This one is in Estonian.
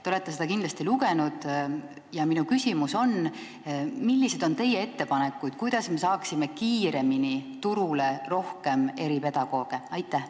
Te olete seda kindlasti lugenud ja minu küsimus on: millised on teie ettepanekud, kuidas me saaksime kiiremini eripedagooge juurde?